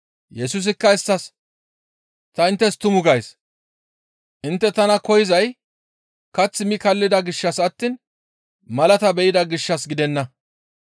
Yesusikka isttas, «Ta inttes tuma gays; intte tana koyzay kath mi kaallida gishshas attiin malata be7ida gishshas gidenna.